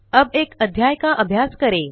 अब एक अध्याय का अभ्यास करें